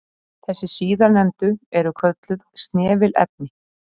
þessi síðarnefndu eru kölluð snefilefni